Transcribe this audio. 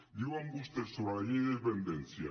diuen vostès sobre la llei de dependència